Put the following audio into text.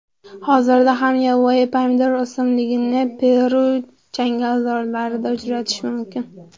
Hozirda ham yovvoyi pomidor o‘simligini Peru changalzorlarida uchratish mumkin.